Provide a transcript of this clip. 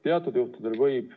Teatud juhtudel võib.